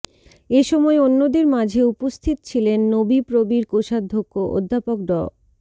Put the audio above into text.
এসময় অন্যদের মাঝে উপস্থিত ছিলেন নোবিপ্রবির কোষাধ্যক্ষ অধ্যাপক ড